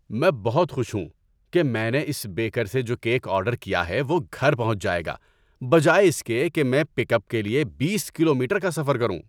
میں بہت خوش ہوں کہ میں نے اس بیکر سے جو کیک آرڈر کیا ہے وہ گھر پہنچ جائے گا بجائے اس کے کہ میں پک اپ کے لیے بیس کلومیٹر کا سفر کروں۔